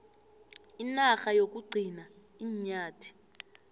inarha yokugcina iinyathi